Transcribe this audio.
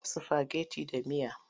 Dafa sifageti da miya!